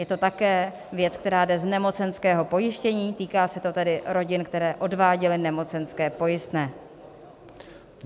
Je to také věc, která jde z nemocenského pojištění, týká se to tedy rodin, které odváděly nemocenské pojistné.